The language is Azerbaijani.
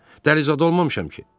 Dəli zad olmamışam ki!